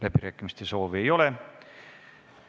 Läbirääkimiste soovi ei ole.